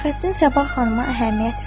Fəxrəddin Sabah xanıma əhəmiyyət vermədi.